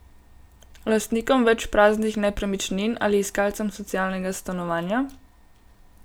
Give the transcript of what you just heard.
Lastnikom več praznih nepremičnin ali iskalcem socialnega stanovanja?